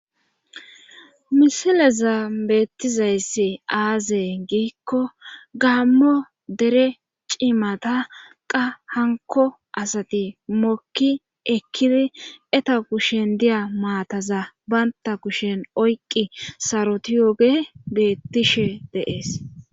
misilezan beettizayssi aaze giikko gaammo dere cimata qa hankko asati mokki ekkiri eta kushen diya maataza bantta kushen oyqqi sarotiyooge beettishe de7ees.